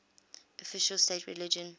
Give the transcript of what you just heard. official state religion